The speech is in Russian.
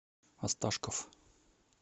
осташков